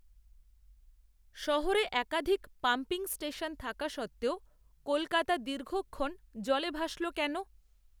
শহরে একাধিক pumping station থাকা সত্ত্বেও কলকাতা দীর্ঘক্ষণ জলে ভাসল কেন